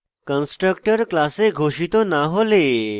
constructor class ঘোষিত না হলে